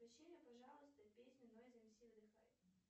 включи мне пожалуйста песню нойз эмси выдыхай